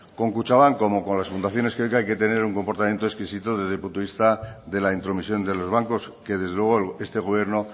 con kutxabank como con las fundaciones hay que tener un comportamiento exquisito desde el punto de vista de la intromisión de los bancos que desde luego este gobierno